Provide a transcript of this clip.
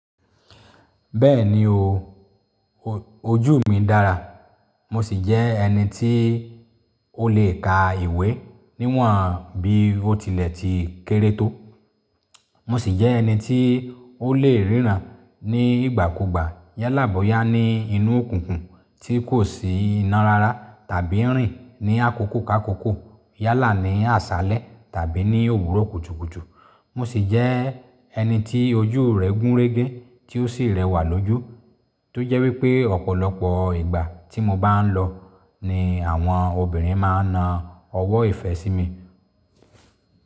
Bẹ́ẹ̀ni o. Ò, ojú mi dára. Mo sì jẹ́ ẹni tí o lè ka ìwé níwọ̀n bí ó tilẹ̀ ti kéré tó. Mo sì jẹ́ ẹni tí o lè ríràn ní ìgbà kugbà, yálàbọ̀yá ní inú òkunkùn tí kò sí iná rara, tàbí rìn ní àkókò ká àkókò, yálà ní àsálẹ̀ tàbí ní òwúrò kutúkutú. Mo sì jẹ́ ẹni tí ojú rẹ̀ gún régé tí ó sì rẹwà lójú, tó jẹ́ wí pé ọ̀pọ̀lọpọ̀ ìgbà tí mo bá ń lọ ni àwọn obìnrin máa ń na ọwọ́ ìfẹ́ sí mi.